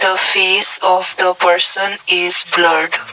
the face of the person is blurred.